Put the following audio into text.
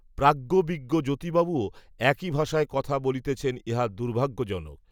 প্রাজ্ঞবিজ্ঞ জ্যোতিবাবুও একই ভাষায় কথা বলিতেছেন ইহা দুর্ভাগ্যজনক